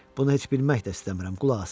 Bunu heç bilmək də istəmirəm, qulaq asın.